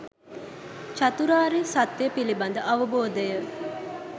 චතුරාර්ය සත්‍යය පිළිබඳ අවබෝධය